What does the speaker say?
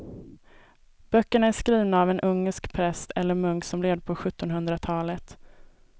Böckerna är skrivna av en ungersk präst eller munk som levde på sjuttonhundratalet.